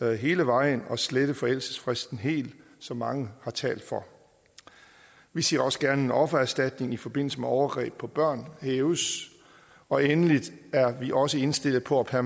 hele vejen og slette forældelsesfristen helt som mange har talt for vi ser også gerne at offererstatning i forbindelse med overgreb på børn hæves og endelig er vi også indstillet på at